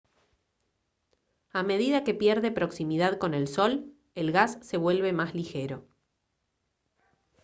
a medida que pierde proximidad con el sol el gas se vuelve más ligero